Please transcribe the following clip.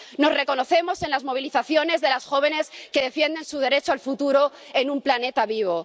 Nos reconocemos en las movilizaciones de las jóvenes que defienden su derecho al futuro en un planeta vivo.